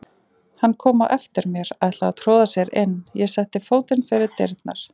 Hann kom á eftir mér, ætlaði að troða sér inn, ég setti fótinn fyrir dyrnar.